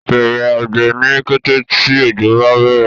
Bẹrẹ àgbè ní kété tí ojo bá bẹrẹ